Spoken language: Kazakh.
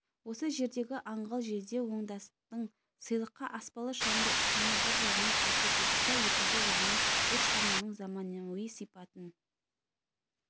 осы жердегі аңғал жезде оңдастың сыйлыққа аспалы шамды ұсынуы бір жағынан күлкі тудырса екінші жағынан бұл шығарманың заманауи сипатын